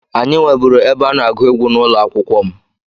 Anyị nweburu ebe a na-agụ egwu n'ụlọ akwụkwọ m.